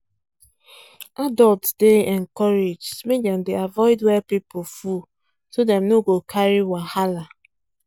adults dey encouraged make dem dey avoid where people full so dem no go carry wahala